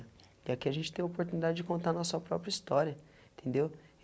E aqui a gente tem a oportunidade de contar nossa própria história, entendeu?